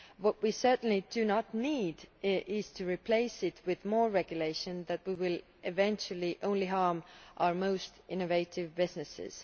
What we certainly do not need is to replace it with more regulation that will eventually only harm our most innovative businesses.